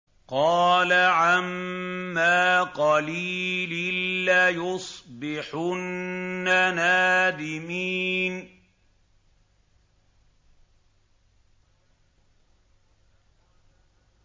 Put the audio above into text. قَالَ عَمَّا قَلِيلٍ لَّيُصْبِحُنَّ نَادِمِينَ